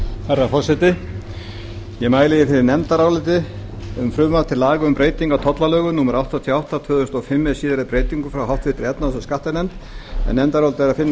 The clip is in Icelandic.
herra forseti ég mæli fyrir nefndaráliti um frumvarp til laga um breyting á tollalögum númer áttatíu og átta tvö þúsund og fimm með síðari breytingum frá háttvirtri efnahags og skattanefnd en nefndarálitið er að finna á